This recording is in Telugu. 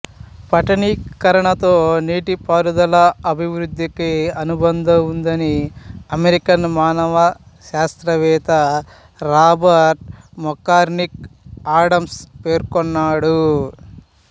పట్టణీకరణతో నీటిపారుదల అభివృద్ధికి అనుబంధం ఉందని అమెరికన్ మానవ శాస్త్రవేత్త రాబర్ట్ మెక్కార్మిక్ ఆడమ్స్ పేర్కొన్నాడు